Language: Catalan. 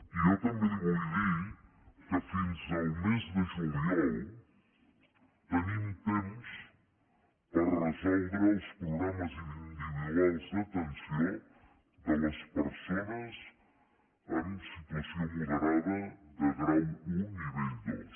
i jo també li vull dir que fins al mes de juliol tenim temps per resoldre els programes individuals d’atenció de les persones en situació moderada de grau un nivell dos